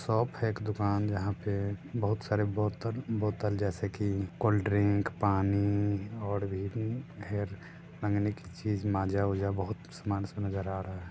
Shop है। एक दुखान जहां पे बहुत सारे बोतल बोतल जैसे की कूलड्रिंक पानी और भी बहुत उम्म हेर मांगे की चीज माजा वाज़ा बहुत समान सब नजर आ रहा है।